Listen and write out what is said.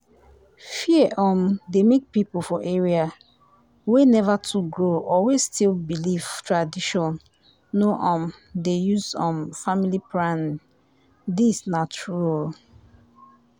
fear um dey make people for areas wey never too grow or wey still believe tradition no um dey use um family planning. this na true o